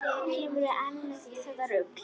Kemurðu enn með þetta rugl!